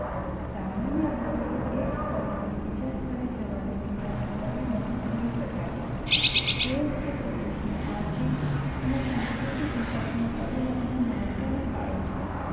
સામાન્ય રીતે એક સ્થળે થી બીજા સ્થળે જવાની ક્રિયા ને પરિવહન કહી શકાય. દેશ પ્રદેશ ના આર્થિક અને સાંસ્કૃતિક વિકાસ માં પરિવહન નું મહત્વ નો ફાળો છે